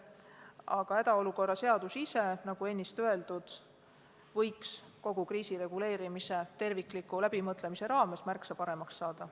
Aga hädaolukorra seadus ise, nagu ennist öeldud, võiks kogu kriisireguleerimise tervikliku läbimõtlemise raames märksa paremaks saada.